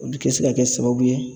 Olu kɛ se ka kɛ sababu ye